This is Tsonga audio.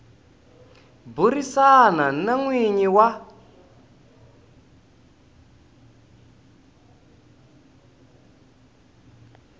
burisana na n winyi wa